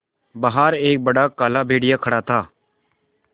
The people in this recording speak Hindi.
बाहर एक बड़ा काला भेड़िया खड़ा था